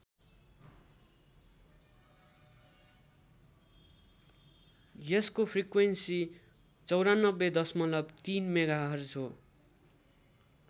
यसको फ्रिक्वेन्सी ९४ दशमलव ३ मेगाहर्ज हो।